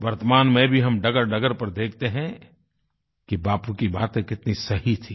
वर्तमान में भी हम डगरडगर पर देखते हैं कि बापू की बातें कितनी सही थीं